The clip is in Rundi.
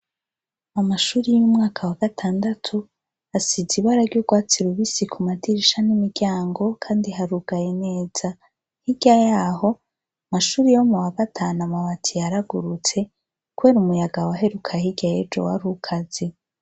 Amashuri y'umwaka wa gatandatu asize ibara ry'urwatsi rubisi ku madirisha n'imiryango kandi harugaye neza, hirya yaho amashuri yo mu wa gatanu amabati yaragurutse kubera umuyaga waheruka hirya y'ejo warukaze.